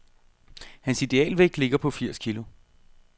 Hans idealvægt ligger på firs kilo.